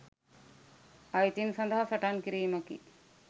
අයිතීන් සදහා සටන් කිරීමකි.